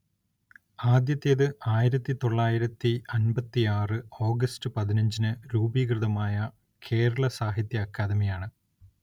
ആദ്യത്തേത് ആയിരത്തി തൊള്ളായിരത്തിയമ്പത്തിയാറ് ഓഗസ്റ്റ് പതിനഞ്ച്നു രൂപീകൃതമായ കേരള സാഹിത്യ അക്കാദമി യാണ്.